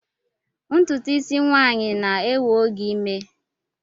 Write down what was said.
Ntutu isi nwanyi na-ewe oge ime